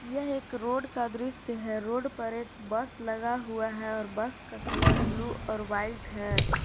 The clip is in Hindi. यह एक रोड का दृश्य है रोड पर एक बस लगा हुआ है और बस का कलर ब्लू और वाइट है।